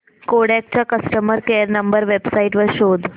Kodak चा customer care number website वर शोध